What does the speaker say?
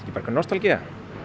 einhver nostalgía